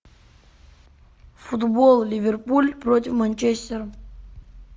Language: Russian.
футбол ливерпуль против манчестера